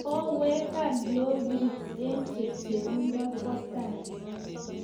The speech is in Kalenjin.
Kowegak lorit eng chepchepindo kwo tai